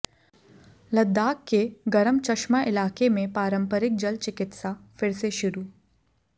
लद्दाख के गरम चश्मा इलाके में पारंपरिक जल चिकित्सा फिर से शुरू